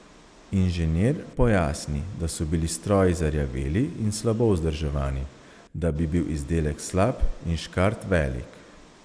Inženir pojasni, da so bili stroji zarjaveli in slabo vzdrževani, da bi bil izdelek slab in škart velik.